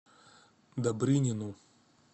добрынину